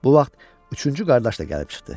Bu vaxt üçüncü qardaş da gəlib çıxdı.